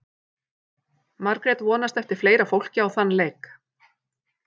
Margrét vonast eftir fleira fólki á þann leik.